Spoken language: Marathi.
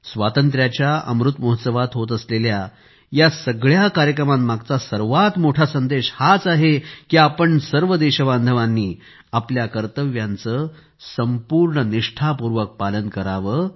स्वातंत्र्याच्या अमृत महोत्सवात होत असलेल्या या सगळ्या कार्यक्रमांमागचा सर्वात मोठा संदेश हाच आहे की आपण सर्व देशबांधवांनी आपल्या कर्तव्यांचे संपूर्ण निष्ठापूर्वक पालन करावे